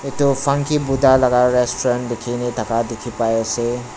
tu funky buddha laga restaurant dekhi kena thaga dekhi pai ase.